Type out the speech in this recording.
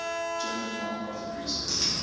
german non profit research